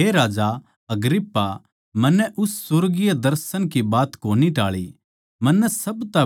इस करकै हे राजा अग्रिप्पा मन्नै उस सुर्गीय दर्शन की बात कोनी टाळी